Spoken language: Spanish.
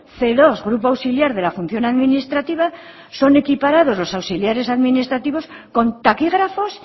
ce dos grupo auxiliar de la función administrativa son equiparados los auxiliares administrativos con taquígrafos